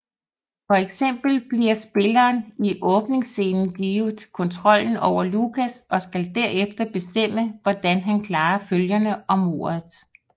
For eksempel bliver spilleren i åbningscenen givet kontrollen over Lucas og skal derefter bestemme hvordan han klarer følgerne og mordet